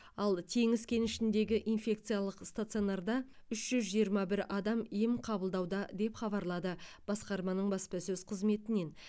ал теңіз кенішіндегі инфекциялық стационарда үш жүз жиырма бір адам ем қабылдауда деп хабарлады басқарманың баспасөз қызметінен